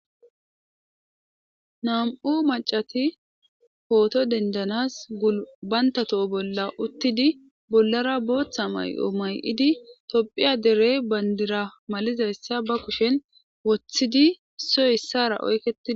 nam7u macati pooto dendanas gubanta toho bolla uttidi bollara booththa may7o may7idi tophiya derey bandira malizayssa ba kushen woththidi soy issara oykeidi